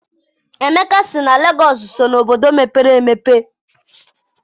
Emeka sị na Lagos so na obodo mepere emepe.